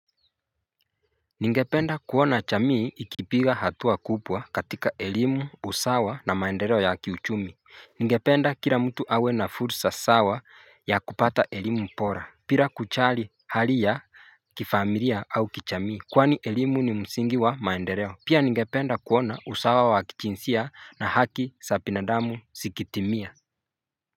Ningependa kuona chamii ikipiga hatua kupwa katika elimu usawa na maendereo ya kiuchumi Ningependa kira mtu awe na fursa sawa ya kupata elimu pora Pira kuchali hali ya kifamilia au kichamii Kwani elimu ni msingi wa maendereo Pia ningependa kuona usawa wa kichinsia na haki sapi na damu sikitimia.